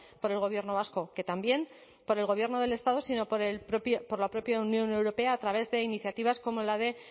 por el gobierno vasco que también por el gobierno del estado sino por la propia unión europea a través de iniciativas como la de